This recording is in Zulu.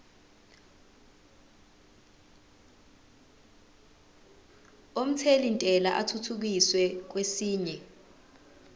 omthelintela athuthukiselwa kwesinye